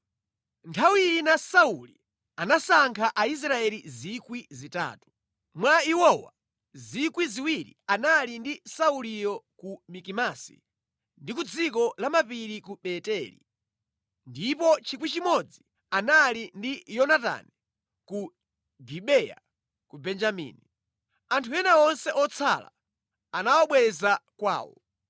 Nthawi ina Sauli anasankha Aisraeli 3,000. Mwa iwowa, 2,000 anali ndi Sauliyo ku Mikimasi ndi ku dziko la mapiri ku Beteli, ndipo 1,000 anali ndi Yonatani ku Gibeya ku Benjamini. Anthu ena onse otsala anawabweza kwawo.